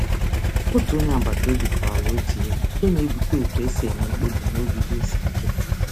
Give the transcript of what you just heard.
Otu onye agbataobi kọwara otu ilu nke na-ebute otu e si enwe mkpebi n’oge ihe isiike.